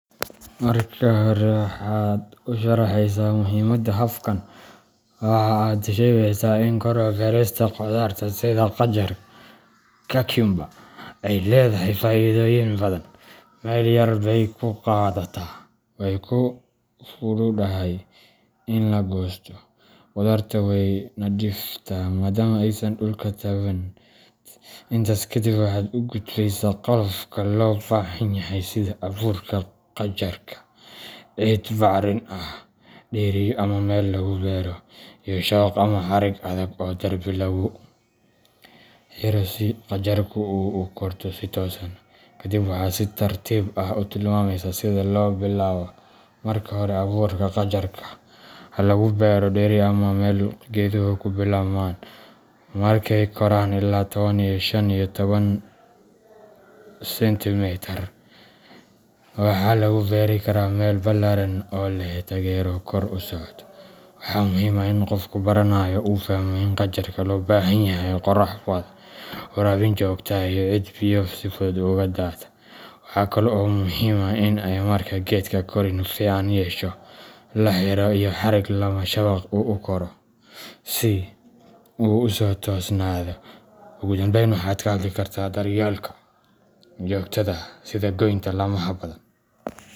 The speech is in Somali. Marka hore, waxaad u sharraxaysaa muhiimada habkan. Waxa aad sheegaysaa in kor u beerista khudaarta sida qajaar cucumber ay leedahay faa’iidooyin badan: meel yar bay ku qaadataa, way fududahay in la goosto, khudaartuna way nadiiftaa maadaama aysan dhulka taabaneen. Intaas kadib, waxaad u gudbaysaa qalabka loo baahan yahay sida abuurka qajaarka, ciid bacrin ah, dheriyo ama meel lagu beero, iyo shabaq ama xarig adag oo derbi lagu xiro si qajaarku ugu korto si toosan. Kadib, waxaad si tartiib ah u tilmaamaysaa sida loo bilaabo: marka hore abuurka qajaarka ha lagu beero dheri ama meel geeduhu ku bilaabmaan. Markay koraan ilaa toban ila shan iyo toban sentimitar, waxaa lagu beeri karaa meel ballaaran oo leh taageero kor u socota. Waxaa muhiim ah in qofka baranaya uu fahmo in qajaarka loo baahan yahay qorrax badan, waraabin joogto ah, iyo ciid biyo si fudud uga daata. Waxa kale oo muhiim ah in marka geedka koriin fiican yeesho, la xiro xarig ama shabaq uu ku koro si uu u toosnaado. Ugu dambeyn, waxaad ka hadli kartaa daryeelka joogtada ah sida goynta laamaha badan.